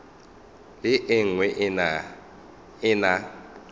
le e nngwe e na